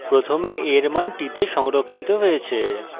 প্রথমে a এর মান t তে সংরক্ষিত হয়েছে